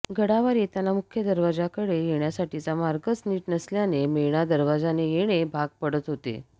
गडावर येताना मुख्य दरवाजाकडे येण्यासाठीचा मार्गच नीट नसल्याने मेणा दरवाजाने येणे भाग पडत होते